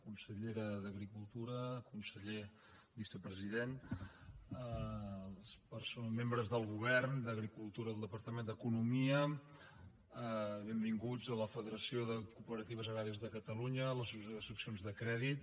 consellera d’agricultura conseller vicepresident membres del govern d’agricultura del departament d’economia benvinguts a la federació de cooperatives agràries de catalunya l’associació de seccions de crèdit